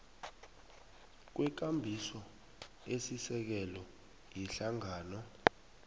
kwekambiso esisekelo yehlangano